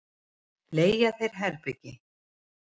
Leigja þér herbergi?